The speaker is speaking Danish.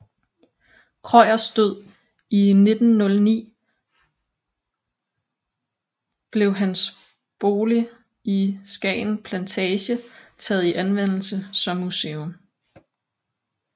Krøyers død i 1909 blev hans bolig i Skagen Plantage taget i anvendelse som museum